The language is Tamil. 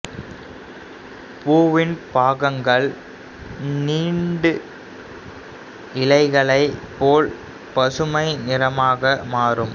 பூவின் பாகங்கள் நீண்டு இலைகளைப் போல் பசுமை நிறமாக மாறும்